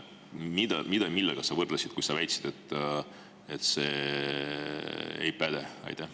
Mida sa millega võrdlesid, kui sa väitsid, et see ei päde?